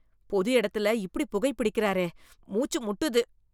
பொது இடத்தில் இப்படி புகை பிடிக்கிறாரே. மூச்சு முட்டுது...